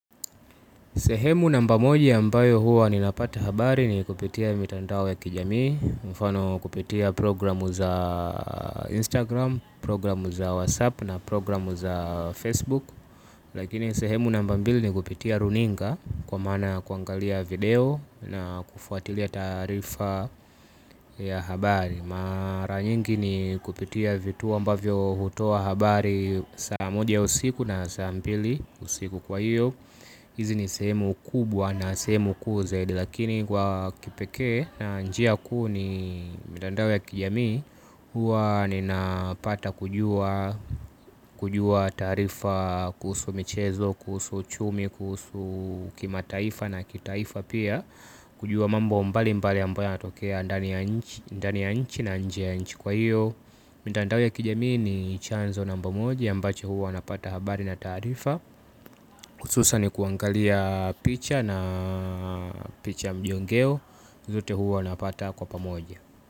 Sehemu namba moja ambayo huwa ninapata habari ni kupitiya mitandao ya kijami mfano kupitiya programu za Instagram, programu za WhatsApp na programu za Facebook. Lakini sehemu namba mbili ni kupitiya runinga kwa maana ya kuangaliya video na kufwatiliya taarifa ya habari maranyingi ni kupitiya vituo ambavyo hutoa habari saa moja ya usiku na saa mbili usiku kwa hiyo. Hizi ni sehemu kubwa na sehemu kuu zaidi lakini kwa kipekee na njiya kuu ni mtandao ya kijami. Huwa ninapata kujua taarifa kuhusu michezo, kuhusu uchumi, kuhusu kimataifa na kitaifa piya. Kujua mambo mbali mbali ambayo yanatokeya ndani ya nchi na inje ya nchi kwa hiyo mtandao ya kijami ni chanzo namba moja ambacho huwa napata habari na taarifa hususan ni kuangalia picha na picha mjongeo Zote huwa napata kwa pamoja.